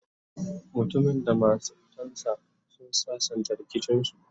mutumin da matan sa sun sassanta rikicin su